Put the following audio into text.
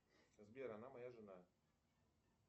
сбер она моя жена